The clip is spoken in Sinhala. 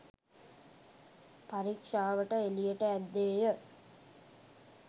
පරීක්ෂාවට එළියට ඇද්දේය.